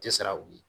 Tɛ sira wuli